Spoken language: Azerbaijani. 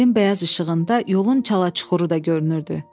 Ayın bəyaz işığında yolun çala-çuxuru da görünürdü.